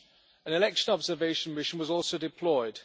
an election observation mission was also deployed.